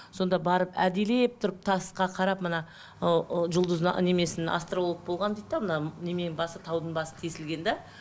сонда барып әдейлеп тұрып тасқа қарап мына ыыы немесін астролог болған дейді де мына немене басы таудың басы тесілген де